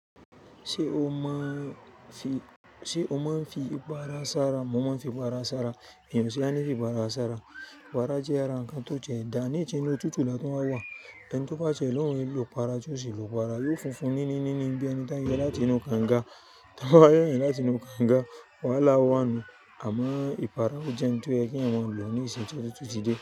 Ṣé o máa ń- fí, ṣe o máa ń fí ipara sára? Mo mọ̀ fí ipara sára, èyàn sì á ní fí ipara sára. Ipara jẹ́ ara ǹkan tó tiẹ́ dáa, nisin inú òtútù la tún wà wa ẹni tó bá tiẹ̀ lóun ò lo ipara tí ó sì lo ipara, yóò funfun níní níní bí ẹni tóń yo láti inú kànga, tón bá yo yan láti inú kànga. Wàhálà wà nù àmọ́ ipara ò jẹ́ ǹ tó yẹ kí èyàn máa lò nísìn tí otutú ti dé.